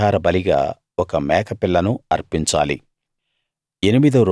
పాపపరిహార బలిగా ఒక మేక పిల్లను అర్పించాలి